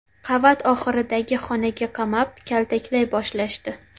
Qavat oxiridagi xonaga qamab, kaltaklay boshlashdi.